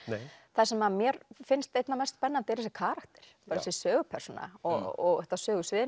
það sem mér finnst einna mest spennandi er þessi karakter þessi sögupersóna og þetta sögusvið er